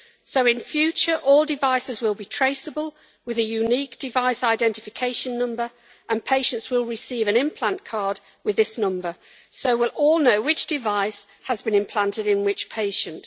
So in future all devices will be traceable with a unique device identification number and patients will receive an implant card with this number, so we will all know which device has been implanted in which patient.